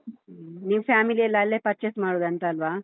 ಹ್ಮ್, ನೀವು family ಯೆಲ್ಲಾ ಅಲ್ಲೇ purchase ಮಾಡುದಂತಲ್ವಾ?